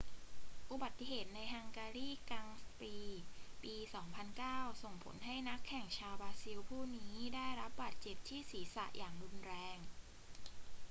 อุบัติเหตุในฮังการีกรังด์ปรีซ์ปี 2009 ส่งผลให้นักแข่งชาวบราซิลผู้นี้ได้รับบาดเจ็บที่ศีรษะอย่างรุนแรง